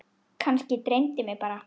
Kannski dreymdi mig bara.